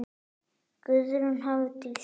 Guðrún Hafdís.